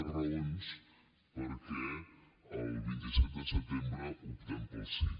més raons perquè el vint set de setembre optem pel sí